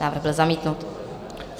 Návrh byl zamítnut.